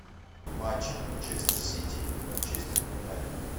матч манчестер сити и манчестер юнайтед